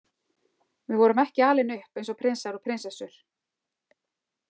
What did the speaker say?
Við vorum ekki alin upp eins og prinsar og prinsessur.